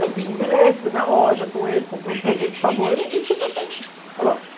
Eu fiz um bilhete, fui na loja com ele, comprei um presente para a noiva e fui para a festa. Falei, ó